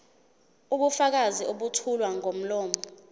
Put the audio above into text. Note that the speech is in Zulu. ubufakazi obethulwa ngomlomo